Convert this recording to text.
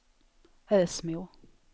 Ösmo